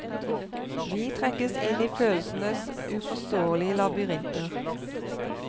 Vi trekkes inn i følelsenes uforståelige labyrinter.